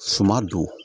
Suma don